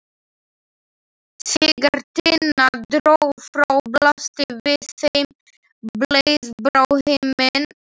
Þegar Tinna dró frá blasti við þeim heiðblár himinn.